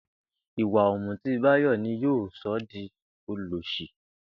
Ìwà ò̩mùtí Báyò̩ ni yóò so̩ ó di olòs̩ì